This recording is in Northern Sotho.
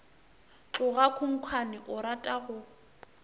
tloga khunkhwane o rata go